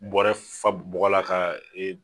Bɔrɛ fa bɔgɔ la ka